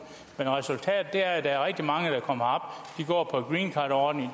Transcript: men resultatet er at der er rigtig mange der kommer herop